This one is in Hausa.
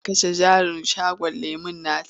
Za ta kashe jarin shagon lemon nata.